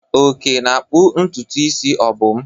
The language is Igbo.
Oke na-akpụ ntutu isi Obum.